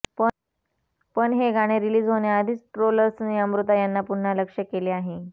पण हे गाणे रिलीज होण्याआधीच ट्रोलर्सने अमृता यांना पुन्हा लक्ष्य केले आहे